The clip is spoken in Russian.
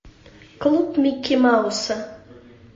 клуб микки мауса